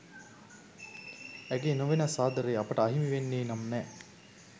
ඇගේ නොවෙනස් ආදරේ අපට අහිමි වෙන්නේ නම් නෑ